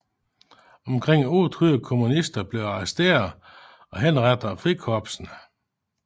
Omkring 800 kommunister blev arresteret og henrettet af frikorpsene